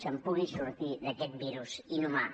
se’n pugui sortir d’aquest virus inhumà